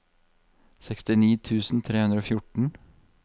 sekstini tusen tre hundre og fjorten